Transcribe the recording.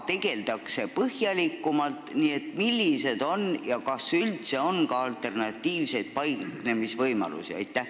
Millised on alternatiivid ja kas üldse on muid võimalusi?